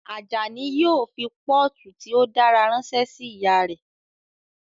Ajani yóò fi pọ́ọ̀tù tí ó dára ránṣẹ́ sí ìyá rẹ̀